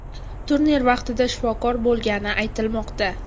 Turnir vaqtida shifokor bo‘lgani aytilmoqda.